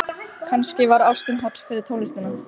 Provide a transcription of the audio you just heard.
Kannski var ástin holl fyrir tónlistina.